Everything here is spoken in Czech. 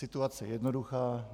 Situace je jednoduchá.